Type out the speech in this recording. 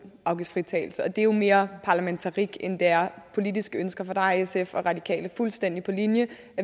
afgiftsfritagelse og det er jo mere parlamentarik end det er politiske ønsker for der er sf og radikale fuldstændig på linje